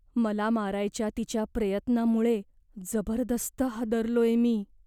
मला मारायच्या तिच्या प्रयत्नामुळे जबरदस्त हादरलोय मी.